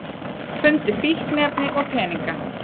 Fundu fíkniefni og peninga